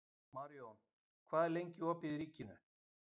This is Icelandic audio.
Marjón, hvað er lengi opið í Ríkinu?